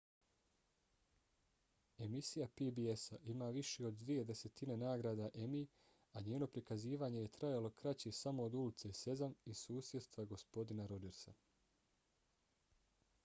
emisija pbs-a ima više od dvije desetine nagrada emmy a njeno prikazivanje je trajalo kraće samo od ulice sezam i susjedstva gospodina rodžersa